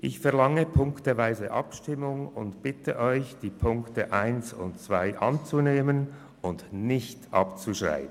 Ich verlange ziffernweise Abstimmung und bitte Sie, die Ziffern 1 und 2 anzunehmen und nicht abzuschreiben.